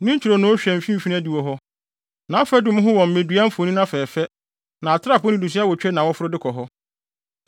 Ne ntwironoo hwɛ mfimfini adiwo hɔ; nʼafadum ho wɔ mmedua mfoni afɛɛfɛ, na atrapoe nnidiso awotwe na wɔforo de kɔ hɔ.